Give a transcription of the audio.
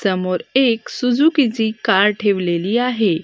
समोर एक सुझुकीची कार ठेवलेली आहे.